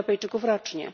Europejczyków rocznie.